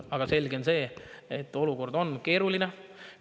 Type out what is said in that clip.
Aga selge on see, et olukord on keeruline.